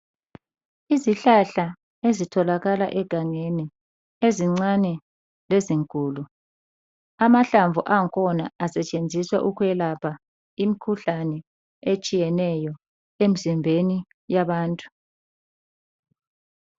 Izihlahla ezitholakala egangeni ezincane lezinkulu . Amahlamvu angkhona asetshenziswa ukwelapha imikhuhlane etshiyeneyo emzimbeni yabantu.